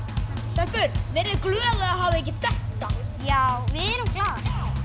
stelpur verið þið glaðar að hafa ekki þetta já við erum glaðar